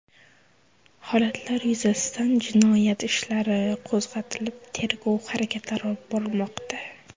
Holatlar yuzasidan jinoyat ishlari qo‘zg‘atilib, tergov harakatlari olib borilmoqda.